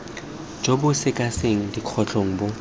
jo bo sekasekang dikgotlang bo